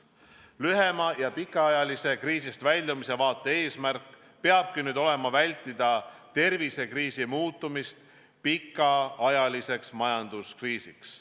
Lühema- ja pikemaajalise kriisist väljumise vaate eesmärk peabki nüüd olema vältida tervisekriisi muutumist pikaajaliseks majanduskriisiks.